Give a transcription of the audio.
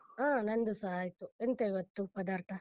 ಹಾ ನಂದುಸ ಆಯ್ತು, ಎಂತ ಇವತ್ತು ಪದಾರ್ಥ?